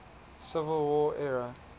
civil war era